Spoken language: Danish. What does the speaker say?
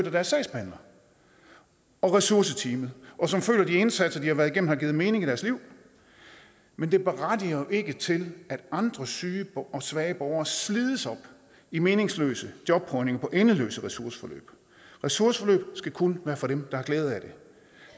af deres sagsbehandler og ressourceteamet og som føler at de indsatser de har været igennem har givet mening i deres liv men det berettiger ikke til at andre syge og svage borgere slides op i meningsløse jobprøvninger og endeløse ressourceforløb ressourceforløb skal kun være for dem der har glæde af det